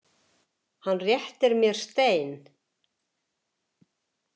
Hann réttir mér stein.